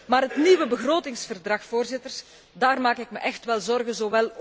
Maar het nieuwe begrotingsverdrag, voorzitters, daarover maak ik me wel echt zorgen.